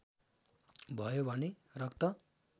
भयो भने रक्त